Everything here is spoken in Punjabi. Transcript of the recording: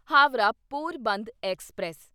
ਹਾਵਰਾ ਪੋਰਬੰਦਰ ਐਕਸਪ੍ਰੈਸ